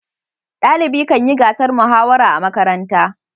dalibi Kan yi gasar muhawara a makaranta